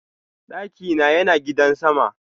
Daki na Yana gidan sama.